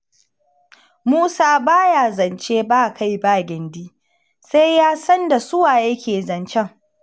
Musa ba ya zance ba-kai-ba-gindi, sai ya san da su wa yake zancen.